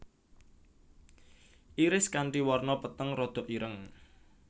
Iris kanti warna peteng rodok ireng